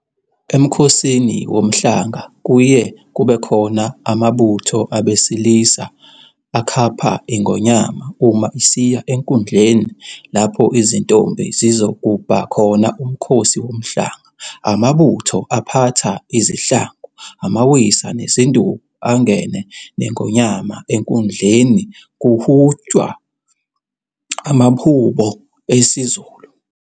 EMkhosini Womhlanga kuye kubekhona amabutho abesilisa akhapha iNgonyama uma isiya enkundleni lapho izintombi zizogubha khona uMkhosi Womhlanga. Amabutho aphatha izihlangu, amawisa nezinduku angene neNgonyama enkundleni kuhutshwa amahubo esiZulu.